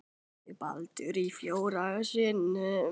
Skorar Baldur í fjórða sinn?